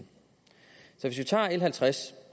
hvis vi tager l halvtreds